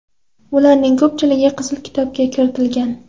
Ularning ko‘pchiligi Qizil kitobga kiritilgan.